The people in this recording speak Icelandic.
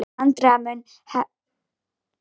Andrea mun hefja störf í ágúst.